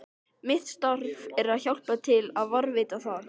Mitt starf er að hjálpa til við að varðveita það.